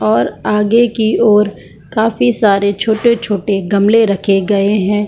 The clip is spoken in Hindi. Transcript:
और आगे की ओर काफी सारे छोटे-छोटे गमले रखे गए हैं।